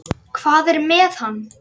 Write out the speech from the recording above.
Er hún svona erfið?